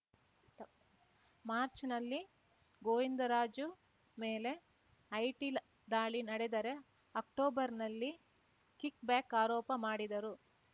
March ನಲ್ಲಿ ಗೋವಿಂದರಾಜು ಮೇಲೆ IT ಲ ದಾಳಿ ನಡೆದರೆ ಅಕ್ಟೋಬರ್‌ನಲ್ಲಿ ಕಿಕ್‌ಬ್ಯಾಕ್‌ ಆರೋಪ ಮಾಡಿದರು